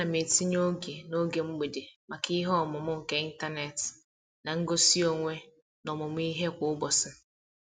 Ana m etinye oge n'oge mgbede maka ihe ọmụmụ nke ịntanet na ngosi onwe n'ọmụmụ ihe kwa ụbọchị.